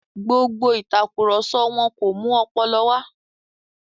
Gbogbo ìtàkurọ̀sọ wọn kò mú ọpọlọ wà.